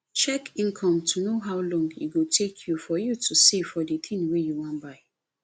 check income to know how long e go take for you to save for di thing wey you wan buy